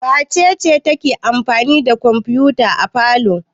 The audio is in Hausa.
Wace ce take amfani da kwamfuta a falo?